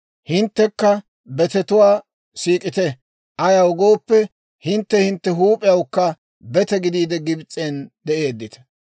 Hinttekka betetuwaa siik'ite; ayaw gooppe, hintte hintte huup'iyawukka bete gidiide Gibs'en de'eeddita.